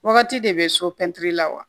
Wagati de bɛ so pɛntiri la wa